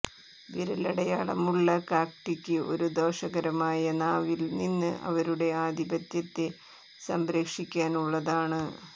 വിരലടയാളമുള്ള കാക്റ്റിക്ക് ഒരു ദോഷകരമായ നാവിൽ നിന്ന് അവരുടെ ആധിപത്യത്തെ സംരക്ഷിക്കാൻ ഉള്ളതാണ്